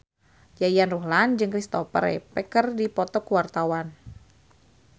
Yayan Ruhlan jeung Kristopher Reeve keur dipoto ku wartawan